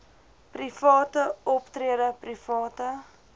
private optrede private